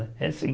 É sim.